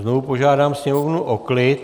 Znovu požádám sněmovnu o klid.